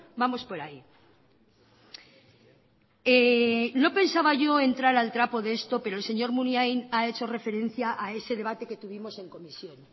vamos por ahí no pensaba yo entrar al trapo de esto pero el señor munain ha hecho referencia a ese debate que tuvimos en comisión